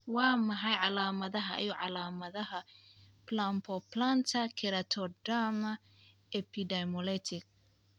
Waa maxay calaamadaha iyo calaamadaha Palmoplantar keratoderma, epidermolytic?